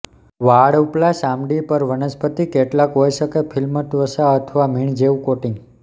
વાળ ઉપલા ચામડી પર વનસ્પતિ કેટલાક હોઇ શકે ફિલ્મ ત્વચા અથવા મીણ જેવું કોટિંગ